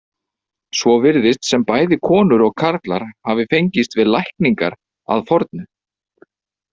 Svo virðist sem bæði konur og karlar hafi fengist við lækningar að fornu.